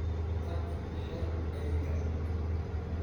Tag xidhi eyga.